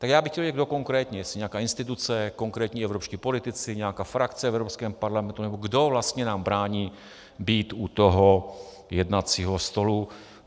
Tak já bych chtěl vědět, kdo konkrétně, jestli nějaká instituce, konkrétní evropští politici, nějaká frakce v Evropském parlamentu, nebo kdo vlastně nám brání být u toho jednacího stolu.